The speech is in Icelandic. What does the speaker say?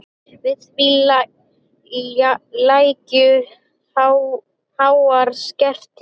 Við því lægju háar sektir.